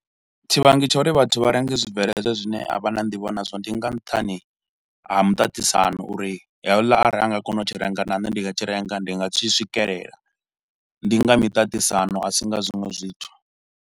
Tshivhangi tsha uri vhathu vha renge zwibveledzwa zwine a vha na ndivho nazwo, ndi nga nṱhani ha muṱaṱisano uri houla arali anga kona u tshi renga na nṋe ndi nga tshi renga, ndi nga tshi swikelela. Ndi nga miṱaṱisano, a si nga zwinwe zwithu.